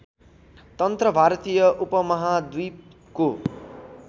तन्त्र भारतीय उपमहाद्वीपको